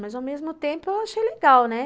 Mas ao mesmo tempo eu achei legal, né?